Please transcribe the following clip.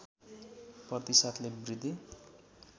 प्रतिशतले वृद्धि